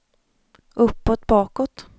uppåt bakåt